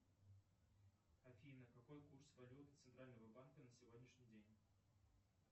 афина какой курс валюты центрального банка на сегодняшний день